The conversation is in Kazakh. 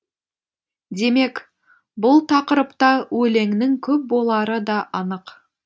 демек бұл тақырыпта өлеңнің көп болары да анық